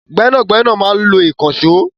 Gbẹ́nàgbẹ́nà máa ń lo ìkànṣọ́